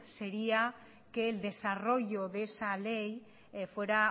sería que el desarrollo de esa ley fuera